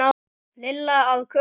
Lilla að Kötu.